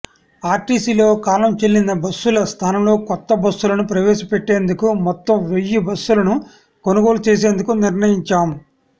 ఆర్టీసీలో కాలం చెల్లిన బస్సుల స్థానంలో కొత్త బస్సులను ప్రవేశపెట్టేందుకు మొత్తం వెయ్యి బస్సులను కొనుగోలు చేసేందుకు నిర్ణయించాం